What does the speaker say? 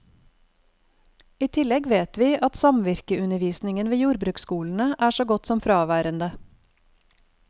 I tillegg vet vi at samvirkeundervisningen ved jordbruksskolene er så godt som fraværende.